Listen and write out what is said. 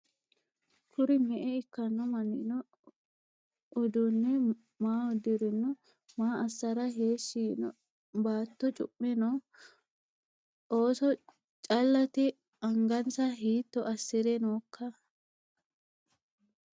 Kiiro me'e ikkanno manni noo? uduunne maa udirinno? Maa assara heeshi yiinno? Baatto cu'me no? ooso calatte? angansa hiitto asire nookka?